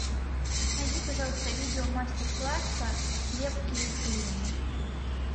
найди пожалуйста видео мастер класса лепки из глины